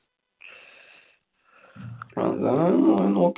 അങ്ങന